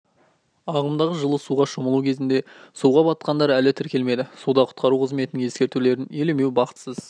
ағымдағы жылы суға шомылу кезінде суға батқандар әлі тіркелмеді суда құтқару қызметінің ескертулерін елемеу бақытсыз